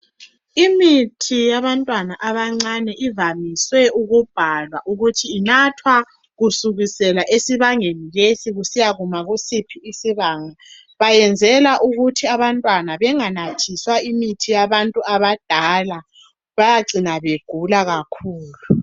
Imithi yabantwana abancane ivamiswe ukubhalwa ukuthi inathwa kusukisela esibangeni lesi kusiyakuma kusiphi isibanga .Bayenzela ukuthi abantwana benganathiswa imithi yabantu abadala bayacina begula kakhulu.